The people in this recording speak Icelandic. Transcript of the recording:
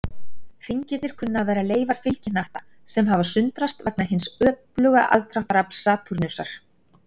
Hringirnir kunna að vera leifar fylgihnatta, sem hafa sundrast vegna hins öfluga aðdráttarafls Satúrnusar.